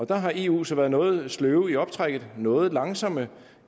der har eu så være noget sløve i optrækket noget langsomme